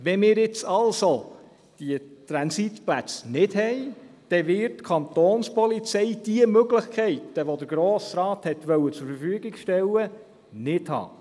» Wenn wir jetzt also diese Transitplätze nicht machen, wird die Kantonspolizei diese Möglichkeiten, welche der Grosse Rat zur Verfügung stellen wollte, nicht haben.